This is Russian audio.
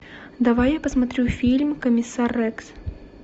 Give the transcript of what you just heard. давай я посмотрю фильм комиссар рекс